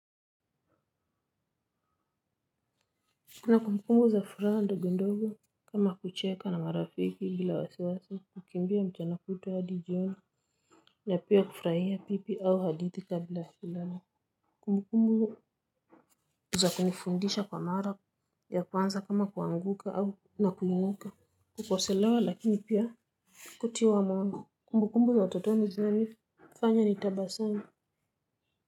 Kumbu kumbu za furaha ndogo ndogo kama kucheka na marafiki bila wasiwasi kukimbia mchana kutwa hadi jioni na pia kufurahia pipi au hadithi kabla ya kukaka za kunifundisha kwa mara ya kwanza kama kuanguka au na kuinuka kukosolewa lakini pia kutiwa mawango. Kumbukumbu za utotoni zinanifanya nitabasamu.